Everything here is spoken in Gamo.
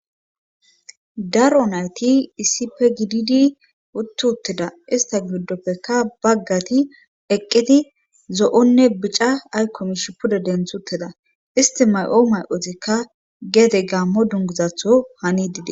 Daro nayti iisipe gididi uttutteda ista giddoppekka baggati eqqeti zo'onne bica aykkomish puda denthuteda isti may'o may'otikka gede gammo dunguzatho hani didi.